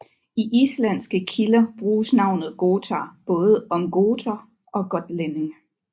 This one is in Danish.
I islandske kilder bruges navet gotar både om goter og gotlændinge